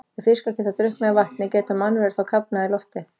Ef fiskar geta drukknað í vatni, geta mannverur þá kafnað í lofti?